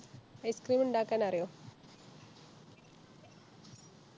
Ice cream ഇണ്ടാക്കാനറിയോ